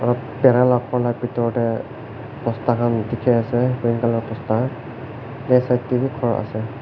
bhera la ghor la bethor dae bosta khan dekhe ase green colour bosta left side dae bhi ghor ase.